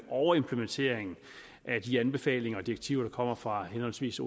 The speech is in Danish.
overimplementering af de anbefalinger og direktiver der kommer fra henholdsvis